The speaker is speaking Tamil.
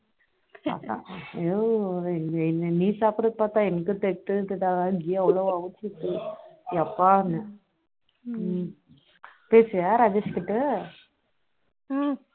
எதோ நீ சாப்டறதா பாத்தா எனக்கு திகட்டுது எப்பா பேசுறியா ராஜேஷ் கிட்ட